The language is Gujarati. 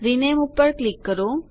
રિનેમ પર ક્લિક કરો